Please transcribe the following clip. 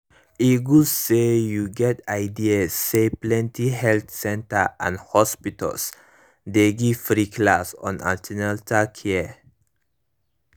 e good say you get ideas say plenty health centers and hospitals dey give free class on an ten atal care